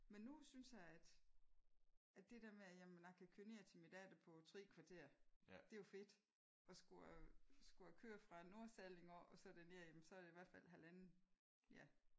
Men nu synes jeg at at det der med at jamen jeg kan køre ned til min datter på 3 kvarter det er jo fedt. Og skulle jeg skulle jeg køre fra Nordsalling og derned så var det i hvert fald halvanden ja